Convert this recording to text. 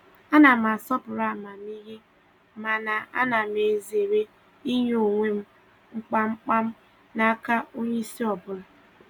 A na m asọpụrụ amamihe mana ana m ezere inye onwe m kpamkpam n'aka onye isi ọbụla.